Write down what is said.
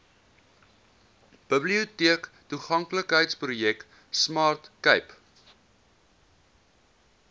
biblioteektoeganklikheidsprojek smart cape